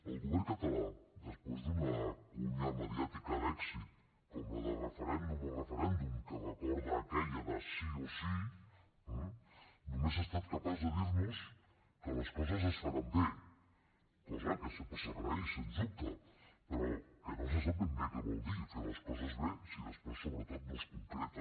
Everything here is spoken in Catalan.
el govern català després d’una falca mediàtica d’èxit com la de referèndum o referèndum que recorda aquella de sí o sí eh només ha estat capaç de dir nos que les coses es faran bé cosa que sempre s’agraeix sens dubte però no se sap ben bé què vol dir fer les coses bé si després sobretot no es concreta